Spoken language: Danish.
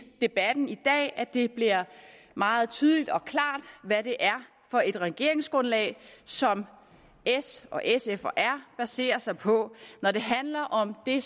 debatten i dag bliver meget tydeligt og klart hvad det er for et regeringsgrundlag som s sf og r baserer sig på når det handler om det